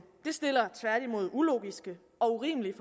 det stiller tværtimod ulogiske og urimelige